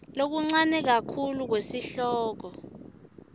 lokuncane kakhulu kwesihloko